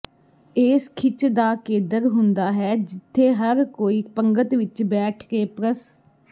ੇਸ ਖਿੱਚ ਦਾ ਕੇਦਰ ਹੁੰਦਾ ਹੈ ਜਿੱਥੇ ਹਰ ਕੋਈ ਪੰਗਤ ਵਿੱਚ ਬੈਠਕੇ ਪ੍ਰਸ